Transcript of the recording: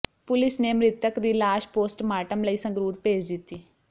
police ਨੇ ਮ੍ਰਿਤਕ ਦੀ ਲਾਸ਼ ਪੋਸਟ ਮਾਰਟਮ ਲਈ ਸੰਗਰੂਰ ਭੇਜ ਦਿੱਤੀ